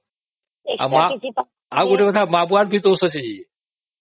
ଆଉ ଗୋଟେ କଥା ମା ବାପ ଙ୍କର ବହୁତ ଦୋଷ ଅଛି